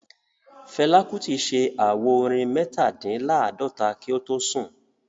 Fela Kuti ṣe àwo-orin Metadinlaadota kí o tó sùn